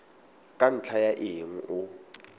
ka ntlha ya eng o